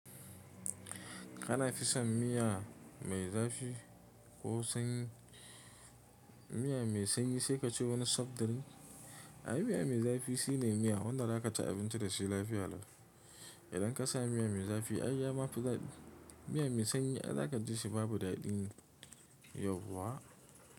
Kana fison miya mai zafi ko sanyi, miya mai sanyi sai kace wani sobtil. Ai miya mai zafi shine miya wanda zaka ci abinci dashi lafiya lau. Idan ka sa miya mai zafi ai ya ma fi dadi miya mai sanyi, ai zaka ji shi babu daɗin yauwa.